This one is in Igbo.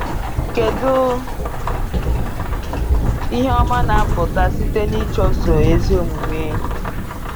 Kedu ihe ọma na-apụta site n’ịchụso ezi omume?